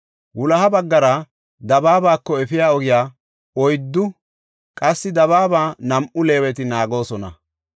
Wuloha baggara dabaabako efiya ogiya oyddu, qassi dabaaba nam7u Leeweti naagoosona.